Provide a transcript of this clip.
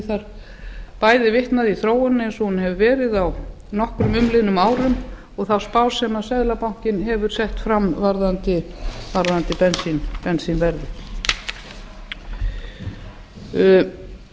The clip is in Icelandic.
þar bæði vitnað í þróunina eins og hún hefur verið á nokkrum umliðnum árum og þá spá sem seðlabankinn hefur sett fram varðandi bensínverðið það